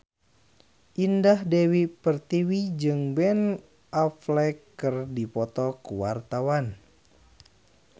Indah Dewi Pertiwi jeung Ben Affleck keur dipoto ku wartawan